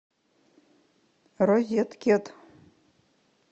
розеткед